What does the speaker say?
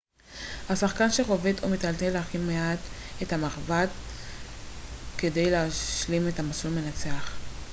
השחקן שחובט או מטלטל הכי מעט את המחבט כדי להשלים את המסלול מנצח